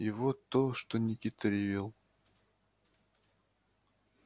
и вот то что никита ревел